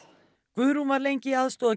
Guðrún var lengi